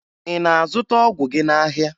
Ị na-azụta ọgwụ gị n'ahịa?